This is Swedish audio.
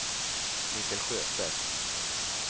Mikael Sjöstedt